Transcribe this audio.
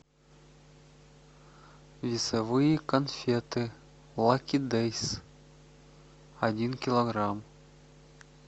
весовые конфеты лаки дейс один килограмм